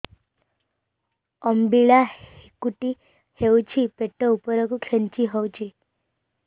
ଅମ୍ବିଳା ହେକୁଟୀ ହେଉଛି ପେଟ ଉପରକୁ ଖେଞ୍ଚି ହଉଚି